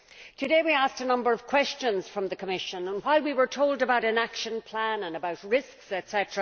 Today we asked a number of questions of the Commission, and while we were told about an action plan and about risks, etc.,